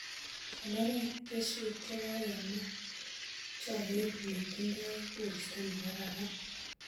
Konore keswek che kakema chogeet ne tindoi koristo nekararan